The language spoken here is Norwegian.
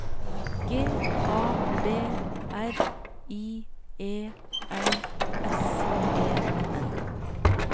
G A B R I E L S E N